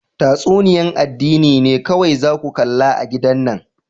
Tatsuniya'n addini ne kowai za ku kalla a'gidan nan.